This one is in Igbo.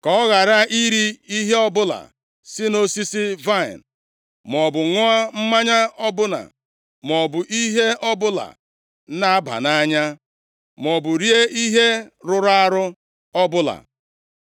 Ka ọ ghara iri ihe ọbụla si nʼosisi vaịnị, + 13:14 \+xt Ọnụ 6:3-4; Nkp 13:4\+xt* maọbụ ṅụọ mmanya ọbụla maọbụ ihe ọbụla na-aba nʼanya, maọbụ rie ihe rụrụ arụ ọbụla.”